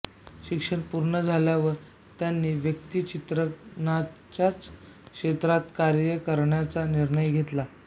शिक्षण पूर्ण झाल्यावर त्यांनी व्यक्तिचित्रणाच्याच क्षेत्रात कार्य करण्याचा निर्णय घेतला